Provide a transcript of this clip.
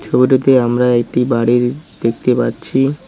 ছবিটিতে আমরা একটি বাড়ি দেখতে পাচ্ছি।